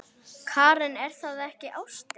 Karen: Er það ekki ástin?